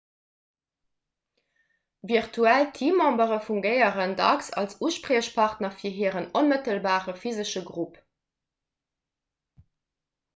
virtuell teammembere fungéieren dacks als uspriechpartner fir hiren onmëttelbare physesche grupp